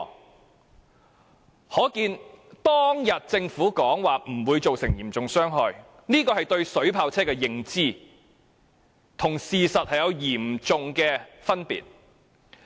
由此可見，政府當天指水炮車不會造成嚴重傷害，是其對水炮車的認知和事實之間有極大差距所致。